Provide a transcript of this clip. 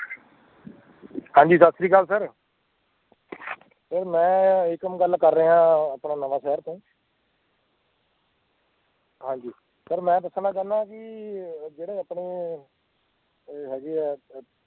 ਹਾਂਜੀ ਸਤਿ ਸ਼੍ਰੀ ਅਕਾਲ sir sir ਮੈਂ ਏਕਮ ਗੱਲ ਕਰ ਰਿਹਾ ਹਾਂ ਆਪਣਾ ਨਵਾਂਸ਼ਹਿਰ ਤੋਂ ਹਾਂਜੀ sir ਮੈਂ ਦੱਸਣਾ ਚਾਹੁੰਦਾ ਹਾਂ ਵੀ ਇਹ ਜਿਹੜੇ ਆਪਣੇ ਇਹ ਇਹ ਹੈਗੇ ਐ